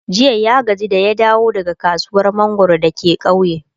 jiya ya gaji da ya dawo daga kasuwar mangwaro dake kauye